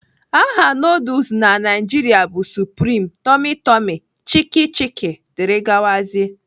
Aha nuduls na Naịjiria bụ supreme, tummy tummy, Chicki Chicki dgz